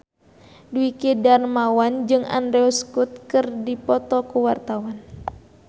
Dwiki Darmawan jeung Andrew Scott keur dipoto ku wartawan